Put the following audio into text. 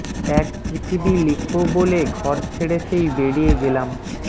এক পৃথিবী লিখবো বলে ঘর ছেড়ে সেই বেড়িয়ে গেলাম